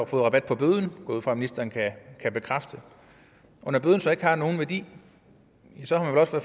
få rabat på bøden ud fra at ministeren kan bekræfte og når bøden så ikke har nogen værdi